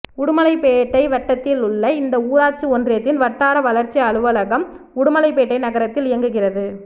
உடுமலைப்பேட்டை வட்டத்தில் உள்ள இந்த ஊராட்சி ஒன்றியத்தின் வட்டார வளர்ச்சி அலுவலகம் உடுமலைப்பேட்டை நகரத்தில் இயங்குகிறது